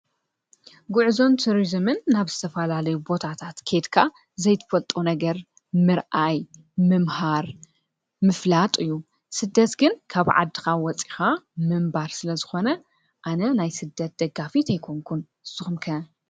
ጉዕዞን ትሪዙምን ናብ ዝተፈላለዩ ቦታታት ከይድካ ዘይትፈልጦ ነገር ምርአይ፣ ምምሃር ምፍላጥ እዩ። ስደት ግን ካብ ዓድካ ወፂእካ ምንባር ስለዝኮነ አነ ናይ ስደት ደጋፊት አይኮንኩን ንስኩም ከ ?